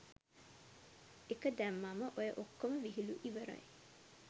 එක දැම්මම ඔය ඔක්කොම විහිළු ඉවරයි.